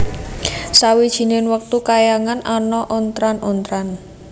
Sawijining wektu kayangan ana ontran ontran